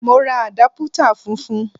Mo ra àdápútà funfun.